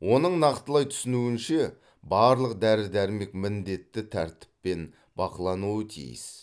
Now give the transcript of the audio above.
оның нақтылай түсуінше барлық дәрі дәрмек міндетті тәртіппін бақылануы тиіс